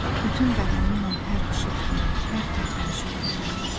Bütün bədənimlə hər xışıltını, hər tərpənişi duyuram.